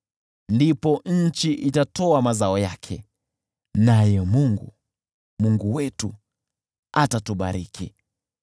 Ndipo nchi itatoa mazao yake, naye Mungu, Mungu wetu, atatubariki.